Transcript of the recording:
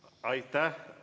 Aitäh!